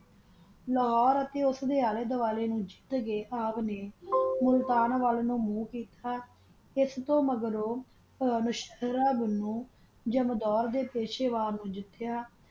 ਲਾਹੋਰੇ ਤਾ ਓਸ ਦਾ ਅਲ ਵਡਾਲਾ ਤਾਕਾ ਖਾ ਕਾ ਮੁਲਤਾਨ ਵਾਲ ਮੋਆਹ ਕੀਤਾ ਜਾਮ੍ਦੂਰ ਨੂ ਪਾਸ਼ਾ ਵਾਰ ਕੀਤਾ